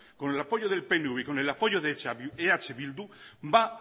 con el apoyo del pnv y con el apoyo eh bildu va a